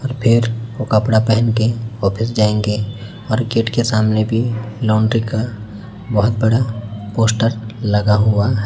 और फिर वो कपड़ा पहन के ऑफिस जाएंगे और गेट के सामने भी लॉन्ड्री का बहोत बड़ा पोस्टर लगा हुआ--